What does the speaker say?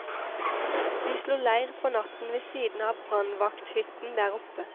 Vi slo leir for natten ved siden av brannvakthytten der oppe.